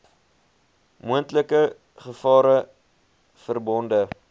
moontlike gevare verbonde